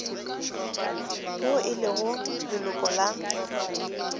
yo e lego leloko la